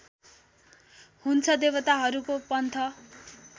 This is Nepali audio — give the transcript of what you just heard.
हुन्छ देवताहरूको पन्थ